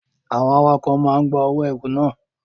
Àwọn awakọ̀ máa ń gba owó ẹrù na.